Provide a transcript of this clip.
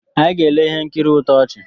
Anyị ga-ele ihe nkiri ntọchị